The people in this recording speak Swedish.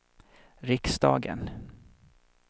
riksdagen